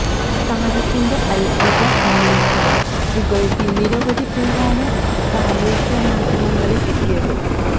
താരത്തിന്റെ അത്ഭുത ഇന്നിംഗ്സിനെ പുകഴ്ത്തി നിരവധി പേരാണ് സാമൂഹ്യമാധ്യമങ്ങളില് എത്തിയത്